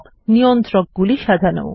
নিয়ন্ত্রক গুলি সাজানো